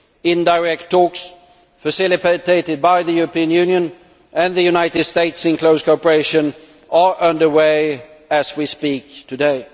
Indirect talks facilitated by the European Union and the United Sates in close cooperation are under way as we speak today.